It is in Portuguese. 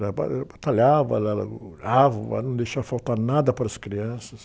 Ela ba, eh, batalhava, ela, mas não deixava faltar nada para as crianças.